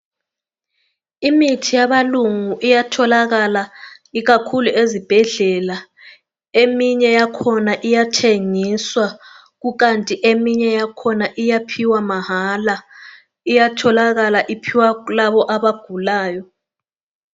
Imithi yabelungu iyatholakala ikakhulu ezibhedlela. Eminye yakhona iyathengiswa kukanti eminye yakhona iyaphiwa mahala. Iyatholakala iphiwa kulabo abagulayo.